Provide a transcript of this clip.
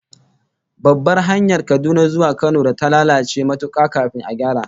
Babbar hanyar Kaduna zuwa Kano da ta lalace matuka kafin a gyara